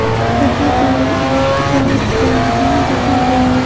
यहां पर एक दुकान दिखाई दे रही है।